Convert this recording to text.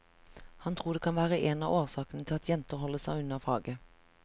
Han tror det kan være én av årsakene til at jenter holder seg unna faget.